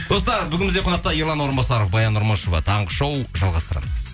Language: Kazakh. достар бүгін бізде қонақта ерлан орынбасаров баян нұрмышева таңғы шоу жалғастырамыз